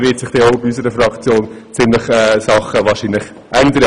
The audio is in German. Dann wird sich sicher nochmals einiges ändern.